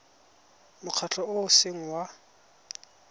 mokgatlho o o seng wa